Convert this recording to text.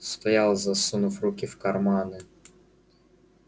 стоял засунув руки в карманы